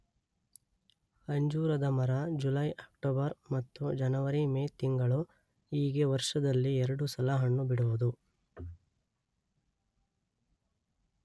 ಅಂಜೂರದ ಮರ July October ಮತ್ತು ಜನವರಿ ಮೇ ತಿಂಗಳು ಹೀಗೆ ವರ್ಷದಲ್ಲಿ ಎರಡು ಸಲ ಹಣ್ಣು ಬಿಡುವುದು